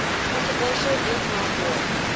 controversial vietnam war